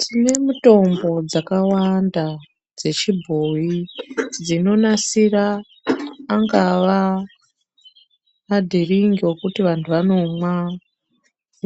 Tinemutombo dzakawanda dzechibhoyi dzinonasira angava madhiringi ekuti vantu vanomwa